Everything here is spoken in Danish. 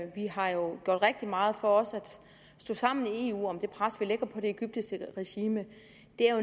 vi har jo gjort rigtig meget for også at stå sammen i eu om det pres vi lægger på det egyptiske regime